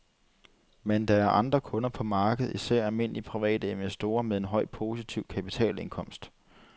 Men der er andre kunder på markedet, især almindelige private investorer med en høj positiv kapitalindkomst.